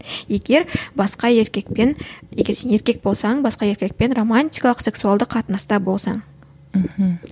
егер басқа еркекпен егер сен еркек болсаң басқа еркекпен романтикалық сексуалды қатынаста болсаң мхм